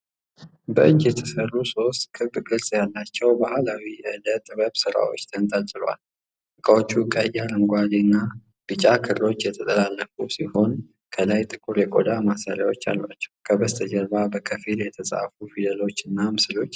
በእጅ የተሰሩ ሶስት ክብ ቅርጽ ያላቸው ባህላዊ የእደ ጥበብ ስራዎች ተንጠልጥለዋል። እቃዎቹ ቀይ፣ አረንጓዴ እና ቢጫ ክሮች የተጠላለፉ ሲሆን፣ ከላይ ጥቁር የቆዳ ማሰሪያዎች አሏቸው። ከበስተጀርባ በከፊል የተጻፉ ፊደሎች እና ምስሎች ይታያሉ።